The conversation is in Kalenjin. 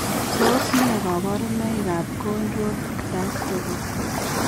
Tos nee kabarunaik ab Cone rod dystrophy ?